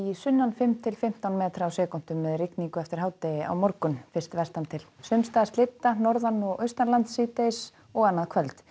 sunnan fimm til fimmtán metra á sekúndu með rigningu eftir hádegi á morgun fyrst vestan til sums staðar norðan og síðdegis og annað kvöld